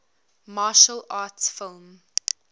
martial arts film